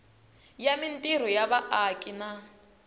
ya mintirho ya vaaki na